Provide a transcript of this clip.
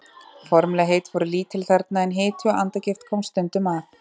Formlegheit voru lítil þarna, en hiti og andagift komst stundum að.